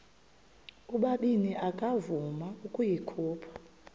ubabini akavuma ukuyikhupha